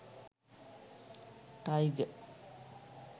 tiger